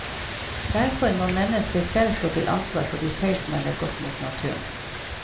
Derfor må mennesket selv stå til ansvar for de feil som er begått mot naturen.